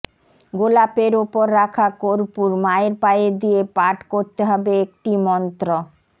গোলাপের ওপর রাখা কর্পূর মায়ের পায়ে দিয়ে পাঠ করতে হবে একটি মন্ত্র